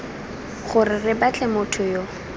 gore re batle motho yo